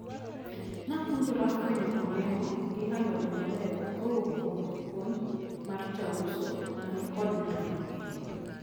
Napuonjra fwenyo olemo gi alode mabeyo kowuok kuom puonj mar jauso manikod lony mang`eny.